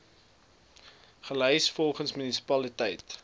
gelys volgens munisipaliteit